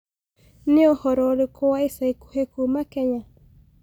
niũhoro ũrĩkũ wa ĩca ĩkũhĩ kũma kenya